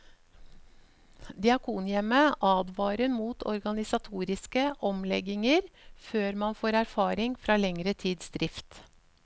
Diakonhjemmet advarer mot organisatoriske omlegginger før man får erfaring fra lengre tids drift.